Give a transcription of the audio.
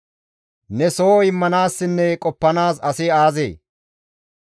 «Ne soho immanaassinne qoppanaas asi aazee?